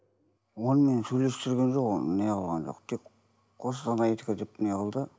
оны мен сөйлесіп жүрген жоқ оны неғылған жоқ тек қостанайдікі деп неғылды